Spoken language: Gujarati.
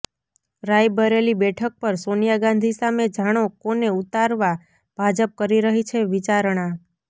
રાયબરેલી બેઠક પર સોનિયા ગાંધી સામે જાણો કોને ઉતારવા ભાજપ કરી રહી છે વિચારણા